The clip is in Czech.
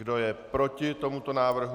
Kdo je proti tomuto návrhu?